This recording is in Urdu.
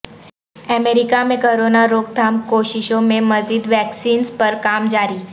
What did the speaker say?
امریکہ میں کرونا روک تھام کوششوں میں مزید ویکسینز پر کام جاری